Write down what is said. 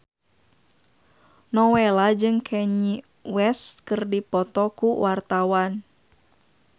Nowela jeung Kanye West keur dipoto ku wartawan